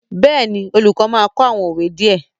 Yes, the teacher would teach some proverbs